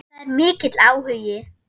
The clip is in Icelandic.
Það er mikill áhugi.